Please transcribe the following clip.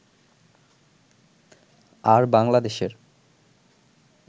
আর বাংলাদেশের